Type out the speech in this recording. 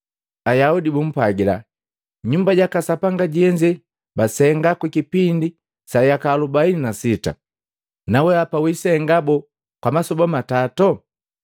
Ayaudi bumpwajila, “Nyumba jaka Sapanga jeze basenga kwa kipindi sa yaka alobaini na sita, nawehapa wisenga boo kwa masoba matatu?”